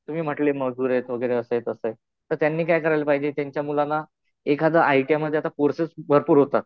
तुम्ही म्हटले मजूर आहे वगैरे असं आहे, तसं आहे. तर त्यांनी काय करायला पाहिजे त्यांच्या मुलाला एखादं आय टी आय मध्ये आता कोर्सेस भरपूर होतात.